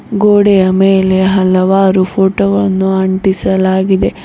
ಗೋಡೆಯ ಮೇಲೆ ಹಲವಾರು ಫೋಟೋ ಗಳನ್ನು ಅಂಟಿಸಲಾಗಿದೆ.